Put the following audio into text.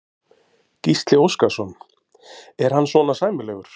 Gísli Óskarsson: Er hann svona sæmilegur?